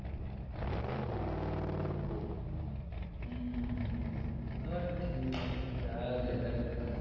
হম হম ও ঠিকাছে আর দেখা~